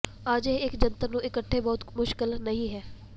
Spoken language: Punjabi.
ਅਜਿਹੇ ਇੱਕ ਜੰਤਰ ਨੂੰ ਇਕਠੇ ਬਹੁਤ ਮੁਸ਼ਕਲ ਨਹੀ ਹੈ